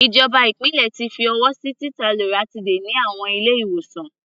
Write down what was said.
Ìjọba ìpínlẹ̀ ti fi ọwọ́ sí títa loratiday ní àwọn ilé-ìwòsàn.